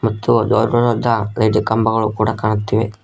ಇದು ರೋಡ್ ಗೊಳುದ್ದ ಲೈಟ್ ಕಂಬಗಳು ಕೂಡ ಕಾಣುತ್ತಿವೆ.